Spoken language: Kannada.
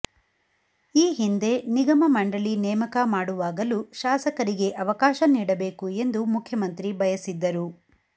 ಈ ಹಿಂದೆ ನಿಗಮ ಮಂಡಳಿ ನೇಮಕ ಮಾಡುವಾಗಲೂ ಶಾಸಕರಿಗೆ ಅವಕಾಶ ನೀಡಬೇಕು ಎಂದು ಮುಖ್ಯಮಂತ್ರಿ ಬಯಸಿದ್ದರು